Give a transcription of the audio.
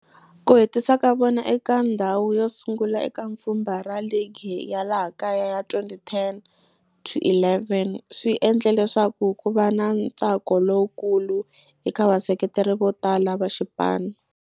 Ku hetisa ka vona eka ndzhawu yo sungula eka pfhumba ra ligi ya laha kaya ya 2010 to 11 swi endle leswaku kuva na ntsako lowukulu eka vaseketeri votala va xipano.